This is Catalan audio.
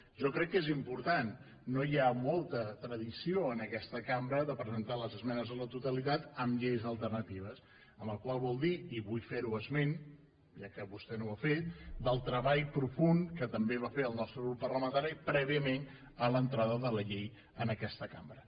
jo crec que és important no hi ha molta tradició en aquesta cambra de presentar les esmenes a la totalitat amb lleis alternatives la qual cosa vol dir i vull fer ne esment ja que vostè no n’ha fet el treball profund que també va fer el nostre grup parlamentari prèviament a l’entrada de la llei en aquesta cambra